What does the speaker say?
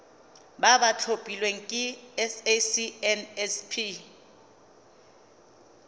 ba ba tlhophilweng ke sacnasp